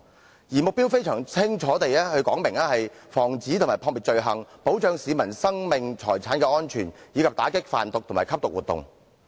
保安局的目標非常清晰，旨在防止和撲滅罪行，保障市民生命財產的安全，以及打擊販毒及吸毒活動。